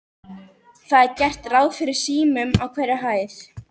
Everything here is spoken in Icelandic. Það er gert ráð fyrir símum á hverri hæð.